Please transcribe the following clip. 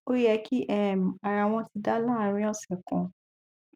ó yẹ kí um ara wọn ti dá láàárín ọsẹ kan